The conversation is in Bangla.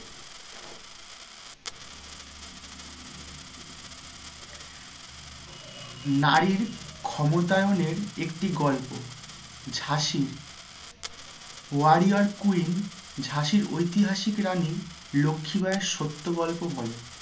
নারীর ক্ষমতায়নের একটি গল্প ঝাঁসির warrior queen ঝাঁসির ঐতিহাসিক রানী লক্ষি বাইয়ের সত্য গল্পবলে